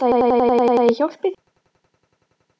Hvað kostar þetta?